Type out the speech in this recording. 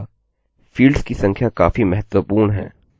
fields की संख्या काफी महत्वपूर्ण है